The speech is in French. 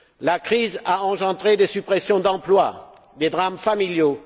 La crise a engendré des suppressions d'emplois, des drames familiaux